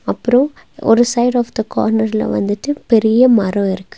அப்றோ ஒரு side of the கார்னர்ல வந்துட்டு பெரிய மரோ இருக்கு.